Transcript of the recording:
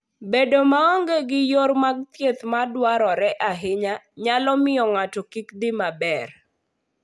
Bedo maonge gi yore mag thieth madwarore ahinya nyalo miyo ng'ato kik dhi maber.